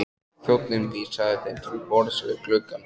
Þjónninn vísaði þeim til borðs við gluggann.